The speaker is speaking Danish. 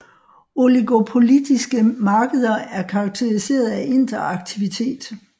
Oligopolistiske markeder er karakteriseret af interaktivitet